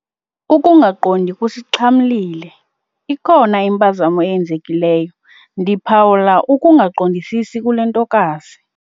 Ukungaqondi kusixhamlile. ikhona impazamo eyenzekileyo, ndiphawula ukungaqondisisi kule ntokazi